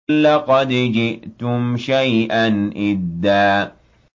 لَّقَدْ جِئْتُمْ شَيْئًا إِدًّا